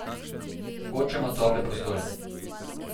Hočemo tople prostore.